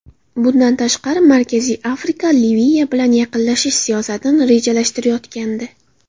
Bundan tashqari, Markaziy Afrika Liviya bilan yaqinlashish siyosatini rejalashtirayotgandi.